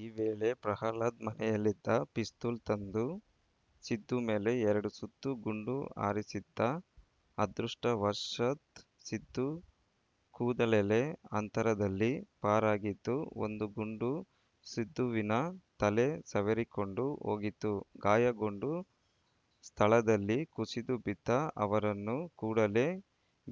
ಈ ವೇಳೆ ಪ್ರಹ್ಲಾದ್‌ ಮನೆಯಲ್ಲಿದ್ದ ಪಿಸ್ತೂಲ್‌ ತಂದು ಸಿದ್ದು ಮೇಲೆ ಎರಡು ಸುತ್ತು ಗುಂಡು ಹಾರಿಸಿದ್ದ ಅದೃಷ್ಟವಶಾತ್‌ ಸಿದ್ದು ಕೂದಲೆಳೆ ಅಂತರದಲ್ಲಿ ಪಾರಾಗಿದ್ದು ಒಂದು ಗುಂಡು ಸಿದ್ದುವಿನ ತಲೆ ಸವರಿಕೊಂಡು ಹೋಗಿತ್ತು ಗಾಯಗೊಂಡು ಸ್ಥಳದಲ್ಲಿ ಕುಸಿದು ಬಿದ್ದ ಅವರನ್ನು ಕೂಡಲೇ